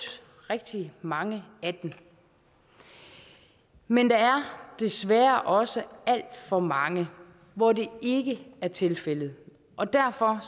rigtig mange af dem men der er desværre også alt for mange hvor det ikke er tilfældet og derfor